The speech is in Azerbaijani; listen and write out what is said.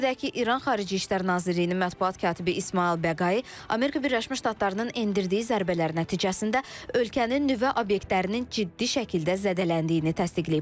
Qeyd edək ki, İran Xarici İşlər Nazirliyinin mətbuat katibi İsmayıl Bəqai Amerika Birləşmiş Ştatlarının endirdiyi zərbələr nəticəsində ölkənin nüvə obyektlərinin ciddi şəkildə zədələndiyini təsdiqləyib.